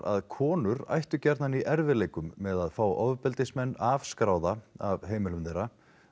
að konur ættu gjarnan í erfiðleikum með að fá ofbeldismenn afskráða af heimilum þeirra